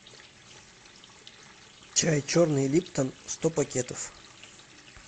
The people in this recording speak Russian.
чай черный липтон сто пакетов